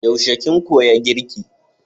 Yaushe kin koya girki?